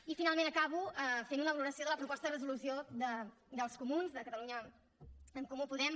i finalment acabo fent una valoració de la proposta de resolució dels comuns de catalunya en comú podem